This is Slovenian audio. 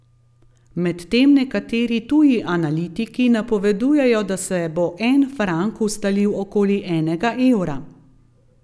Medtem nekateri tuji analitiki napovedujejo, da se bo en frank ustalil okoli enega evra.